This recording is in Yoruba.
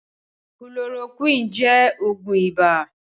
Kulorokúwínì jẹ́ Ògùn ibà